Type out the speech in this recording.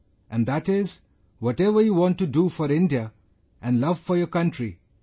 And that is ... whatever you want to do for India and love for your country...